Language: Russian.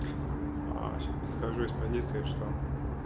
скажи стадия что